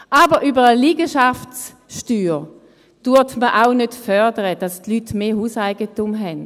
Aber über eine Liegenschaftssteuer fördert man auch nicht, dass die Leute mehr Hauseigentum haben.